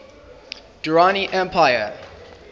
durrani empire